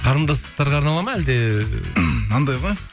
қарындастарға арналады ма әлде мынандай ғой